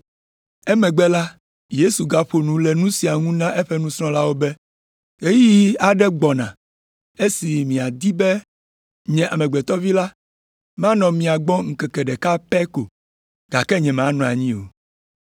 Emegbe la, Yesu gaƒo nu le nu sia ŋu na eƒe nusrɔ̃lawo be, “Ɣeyiɣi aɖe gbɔna esi miadi be nye Amegbetɔ Vi la manɔ mia gbɔ ŋkeke ɖeka pɛ ko. Gake nyemanɔ anyi o.